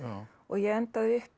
og ég endaði uppi